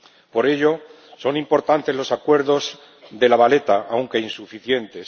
Por ello son importantes los acuerdos de La Valeta, aunque insuficientes.